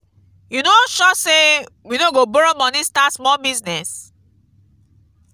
you no sure say we no go borrow money start small business.